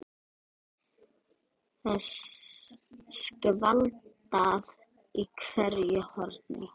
Það er skvaldrað í hverju horni.